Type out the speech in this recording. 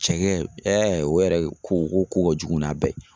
Cɛkɛ o yɛrɛ ko ko ka kojugu n'a bɛɛ ye